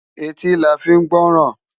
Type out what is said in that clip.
Éti lá fi n gbòròn